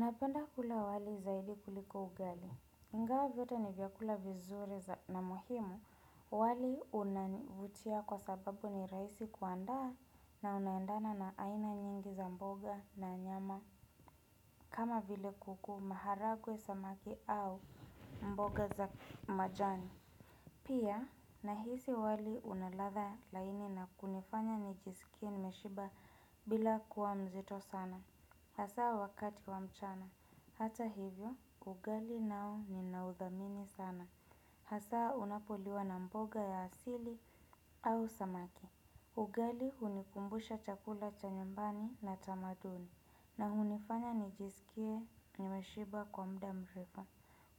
Napenda kula wali zahidi kuliko ugali. Ngawa vyote ni vyakula vizuri na muhimu, wali unavutia kwa sababu ni raisi kuandaa na unaendana na aina nyingi za mboga na nyama kama vile kuku maharagwe samaki au mboga za majani. Pia, nahisi wali unalatha laini na kunifanya nijisikie nimeshiba bila kuwa mzito sana. Hasaa wakati wa mchana. Hata hivyo, ugali nao ni naudhamini sana. Hasaa unapoliwa na mboga ya asili au samaki. Ugali hunikumbusha chakula cha nyumbani na tamaduni. Na unifanya nijisikie nimeshiba kwa muda mrefu.